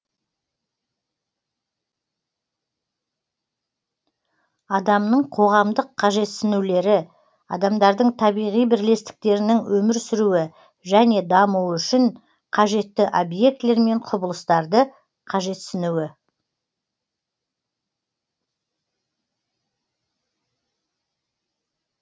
адамның қоғамдық қажетсінулері адамдардың табиғи бірлестіктерінің өмір сүруі және дамуы үшін қажетті объектілер мен құбылыстарды қажетсінуі